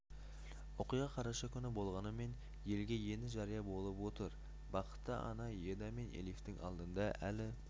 оқиға қараша күні болғанымен елге енді жария болып отыр бақытты ана эда мен элифтің алдында әли